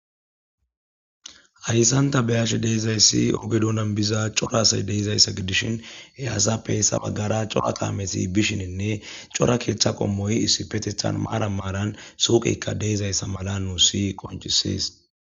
Haysan ta beyashe dizaysi oge dunan biza c'or asay de'izaysa gidishin he asappe hesa bagara c'ora kamezi bishin c'ora keta qomoy issippetan maran maran suqeyka de'izaysa mala nusi qonc'ises